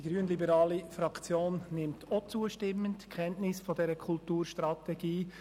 Die grünliberale Fraktion nimmt auch zustimmend Kenntnis von dieser Kulturstrategie.